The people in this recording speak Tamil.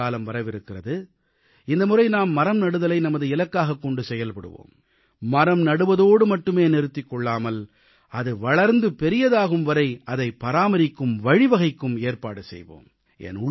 மழைக்காலம் வரவிருக்கிறது இந்தமுறை நாம் மரம்நடுதலை நமது இலக்காகக் கொண்டு செயல்படுவோம் மரம் நடுவதோடு மட்டுமே நிறுத்திக் கொள்ளாமல் அது வளர்ந்து பெரியதாகும் வரை அதைப் பராமரிக்கும் வழிவகைக்கு ஏற்பாடு செய்வோம்